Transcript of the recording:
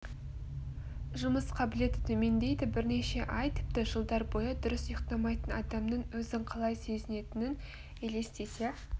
жұмыс қабілеті төмендейді бірнеше ай тіпті жылдар бойы дұрыс ұйықтамайтын адамның өзін қалай сезінетінін елестете